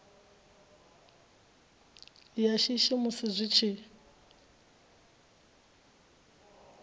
ya shishi musi zwi tshi